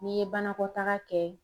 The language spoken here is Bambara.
N'i ye banakɔtaga kɛ